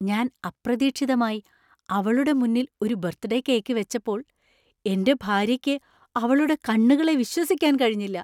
ഞാന്‍ അപ്രതീക്ഷിതമായി അവളുടെ മുന്നിൽ ഒരു ബർത്ത്ഡേ കേക്ക് വെച്ചപ്പോൾ എന്‍റെ ഭാര്യയ്ക്ക് അവളുടെ കണ്ണുകളെ വിശ്വസിക്കാൻ കഴിഞ്ഞില്ല.